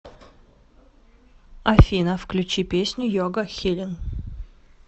афина включи песню йога хилин